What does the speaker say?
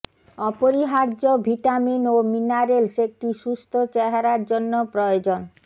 অপরিহার্য ভিটামিন ও মিনারেলস একটি সুস্থ চেহারা জন্য প্রয়োজন